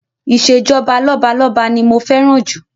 Ìṣèjọba lọ́balọ́ba ni mo fẹ́ràn jù